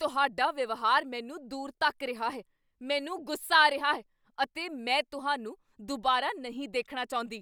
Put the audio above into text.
ਤੁਹਾਡਾ ਵਿਵਹਾਰ ਮੈਨੂੰ ਦੂਰ ਧੱਕ ਰਿਹਾ ਹੈ। ਮੈਨੂੰ ਗੁੱਸਾ ਆ ਰਿਹਾ ਹੈ ਅਤੇ ਮੈਂ ਤੁਹਾਨੂੰ ਦੁਬਾਰਾ, ਨਹੀਂ ਦੇਖਣਾ ਚਾਹੁੰਦੀ!